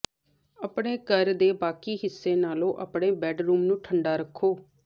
ਆਪਣੇ ਘਰ ਦੇ ਬਾਕੀ ਹਿੱਸੇ ਨਾਲੋਂ ਆਪਣੇ ਬੈੱਡਰੂਮ ਨੂੰ ਠੰਡਾ ਰੱਖੋ